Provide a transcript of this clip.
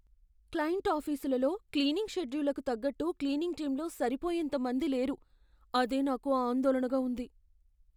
Client ఆఫీసులలో cleaning షెడ్యూళ్లకు తగ్గట్టు క్లీనింగ్ టీంలో సరిపోయేంత మంది లేరు. అదే నాకు ఆందోళనగా ఉంది.